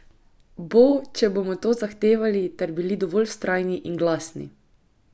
Bo, če bomo to zahtevali ter bili dovolj vztrajni in glasni.